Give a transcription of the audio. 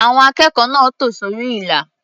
Àwọn akẹ́kọ̀ọ́ náà tò sórí ilà.